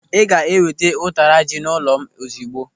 Ị ga-eweta ụtara ji n'ụlọ m ozigbo.